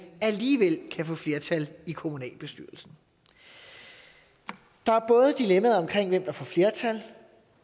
alligevel kan få flertal i kommunalbestyrelsen der er både dilemmaet om hvem der får flertal